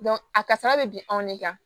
a kasara bɛ bin anw de kan